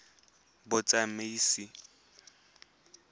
batsamaisi